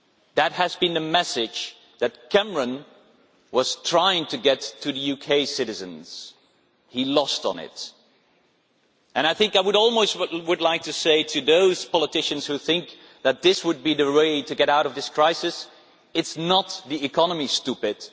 That was the message that Cameron was trying to get across to UK citizens. He lost on it. And I would almost like to say to those politicians who think that this would be the way to get out of this crisis It is not the economy, stupid'.